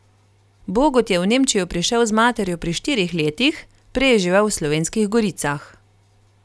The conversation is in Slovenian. Bogut je v Nemčijo prišel z materjo pri štirih letih, prej je živel v Slovenskih goricah.